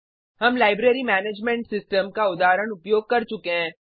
हम library management system का उदाहरण उपयोग कर चुके हैं